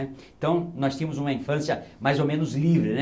Então nós tínhamos uma infância mais ou menos livre né.